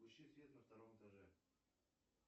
включи свет на втором этаже